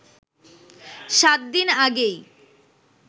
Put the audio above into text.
সাত দিন আগেই